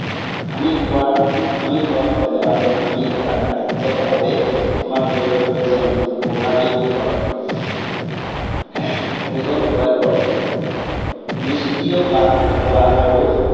আমি খোৱা, আমি খোৱা খাদ্য় আৰু আমি কৰা কাৰ্যকলাপে আমাৰ শৰীৰৰ ওজন প্ৰভাৱিত কৰে। আহ এজন প্ৰভাৱিত কৰে। নিস্ক্ৰিয় বা হোৱা আৰু